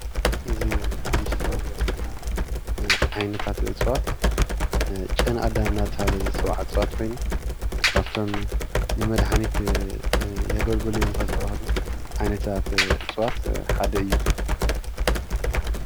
እዚ ኣብ ምስሊ እንሪኦ ዘለና ዓይነታታት እፅዋት ጨና ኣዳም እናተብሃለ ዝፅዋዕ ዕፅዋት ኮይኑ ካብቶም ንመድሓኒት የገልግሉ እዮም ካብ ዝበሃሉ ዓይነታታት እፅዋት ሓደ እዩ።